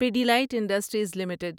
Pidilite industries limited